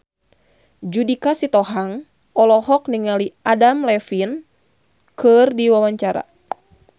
Judika Sitohang olohok ningali Adam Levine keur diwawancara